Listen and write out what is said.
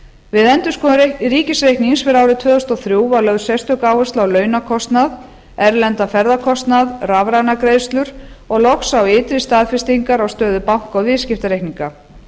við endurskoðun ríkisreiknings fyrir árið tvö þúsund og þrjú var lögð sérstök áhersla á launakostnað erlendan ferðakostnað rafrænar greiðslur og loks á ytri staðfestingar á stöðu banka og viðskiptareikninga